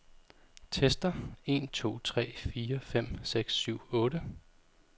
Tester en to tre fire fem seks syv otte.